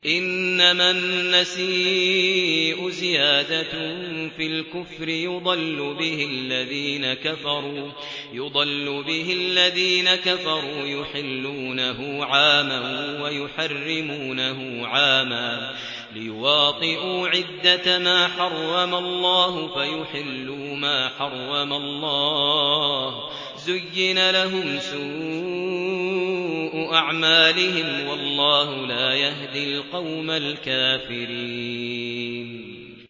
إِنَّمَا النَّسِيءُ زِيَادَةٌ فِي الْكُفْرِ ۖ يُضَلُّ بِهِ الَّذِينَ كَفَرُوا يُحِلُّونَهُ عَامًا وَيُحَرِّمُونَهُ عَامًا لِّيُوَاطِئُوا عِدَّةَ مَا حَرَّمَ اللَّهُ فَيُحِلُّوا مَا حَرَّمَ اللَّهُ ۚ زُيِّنَ لَهُمْ سُوءُ أَعْمَالِهِمْ ۗ وَاللَّهُ لَا يَهْدِي الْقَوْمَ الْكَافِرِينَ